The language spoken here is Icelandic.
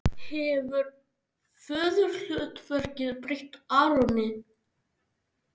Hefur föðurhlutverkið breytt Aroni?